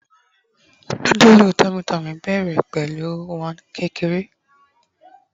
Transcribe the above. nudulu tummy tummy bẹrẹ pẹlu iwon kékeré